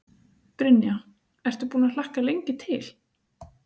Brynja: Ertu búinn að hlakka lengi til?